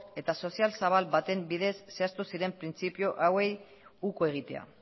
eta sozial zabal baten bidez zehaztu ziren printzipio hauei uko egitea